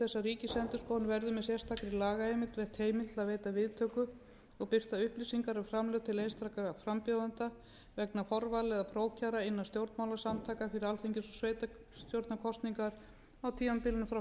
veita viðtöku og birta upplýsingar um framlög til einstakra frambjóðenda vegna forvala eða prófkjara innan stjórnmálasamtaka fyrir alþingis og sveitarstjórnarkosningar á tímabilinu frá fyrsta